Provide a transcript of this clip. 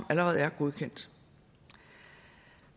allerede er godkendt